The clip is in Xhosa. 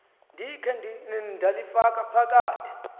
ndikhe ndalifaka phakathi